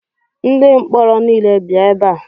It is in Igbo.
Ndi mkpọrọ niile bịa ebe a!